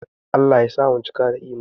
Allah ya sa mu cika da Imani